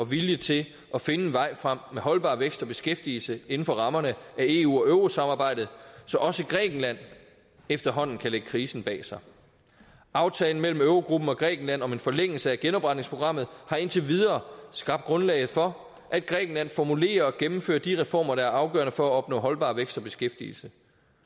vilje til at finde en vej frem med holdbar vækst og beskæftigelse inden for rammerne af eu og eurosamarbejdet så også grækenland efterhånden kan lægge krisen bag sig aftalen mellem eurogruppen og grækenland om en forlængelse af genopretningsprogrammet har indtil videre skabt grundlaget for at grækenland formulerer og gennemfører de reformer der er afgørende for at opnå holdbar vækst og beskæftigelse